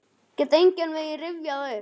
Get engan veginn rifjað það upp.